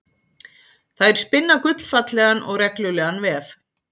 Þær spinna gullfallegan og reglulegan vef.